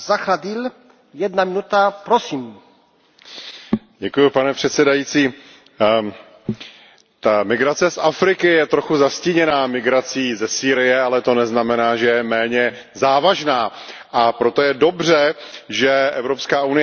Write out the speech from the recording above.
Pane předsedající, ta migrace z Afriky je trochu zastíněná migrací ze Sýrie, ale to neznamená, že je méně závažná, a proto je dobře, že Evropská unie investuje do bezpečnosti a stability v Africe.